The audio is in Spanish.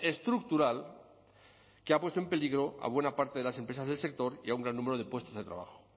estructural que ha puesto en peligro a buena parte de las empresas del sector y a un gran número de puestos de trabajo